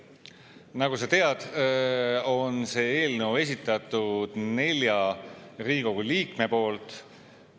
Nagu sa tead, on see eelnõu esitatud nelja Riigikogu liikme poolt.